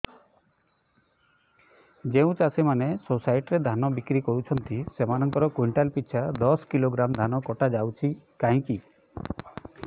ଯେଉଁ ଚାଷୀ ମାନେ ସୋସାଇଟି ରେ ଧାନ ବିକ୍ରି କରୁଛନ୍ତି ସେମାନଙ୍କର କୁଇଣ୍ଟାଲ ପିଛା ଦଶ କିଲୋଗ୍ରାମ ଧାନ କଟା ଯାଉଛି କାହିଁକି